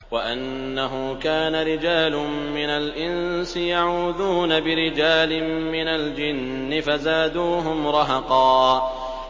وَأَنَّهُ كَانَ رِجَالٌ مِّنَ الْإِنسِ يَعُوذُونَ بِرِجَالٍ مِّنَ الْجِنِّ فَزَادُوهُمْ رَهَقًا